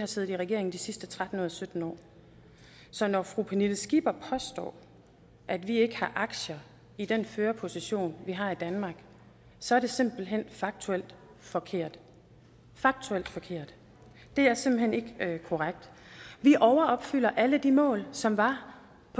har siddet i regering de sidste tretten ud af sytten år så når fru pernille skipper påstår at vi ikke har aktier i den førerposition vi har i danmark så er det simpelt hen faktuelt forkert faktuelt forkert det er simpelt hen ikke korrekt vi overopfylder alle de mål som var